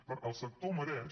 per tant el sector mereix